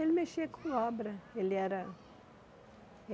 Ele mexia com obra. Ele era